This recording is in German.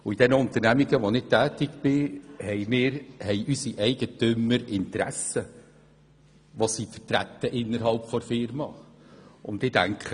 In den Unternehmen, in denen ich tätig bin, haben die Eigentümer Interessen, die sie innerhalb der Unternehmung vertreten.